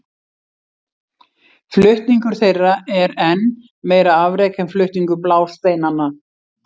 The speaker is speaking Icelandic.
Flutningur þeirra er enn meira afrek en flutningur blásteinanna.